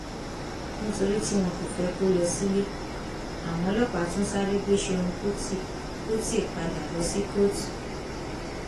nítorí tí wọn kò fẹ kó lọ sílé àwọn ọlọpàá tún sáré gbé ṣẹun kùtì kùtì padà lọ sí kóòtù